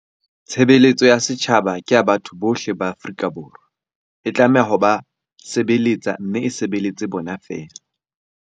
Tshebeletso ya setjhaba ke ya batho bohle ba Afrika Borwa. E tlameha ho ba se beletsa mme e sebeletse bona feela.